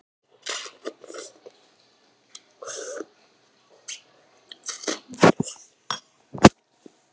Jón Kári.